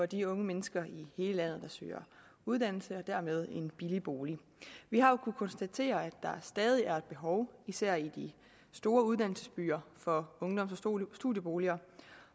de unge mennesker i hele landet der søger uddannelse og dermed en billig bolig vi har jo kunnet konstatere at der stadig er et behov især i de store uddannelsesbyer for ungdoms og studieboliger